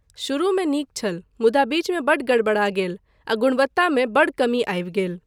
शुरूमे नीक छल मुदा बीचमे बड्ड गड़बड़ा गेल आ गुणवत्तामे बड्ड कमी आबि गेल।